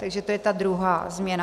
Takže to je ta druhá změna.